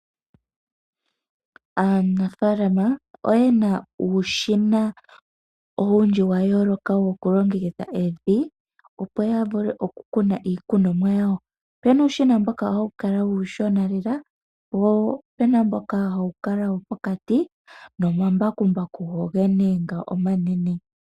Aanafalama oyena uushina owundji wa yooloka woku longekidha evi opo ya vule oku kuna iikunomwa yawo. Opena uushina mboka hawu kala uushona lela wo opena mboka hawu kala wo pokati nomambakumbaku gogene ngo omanene.